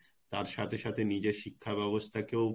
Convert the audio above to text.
তার সাথে সাথে নিজের শিক্ষার ব্যবস্থা কেও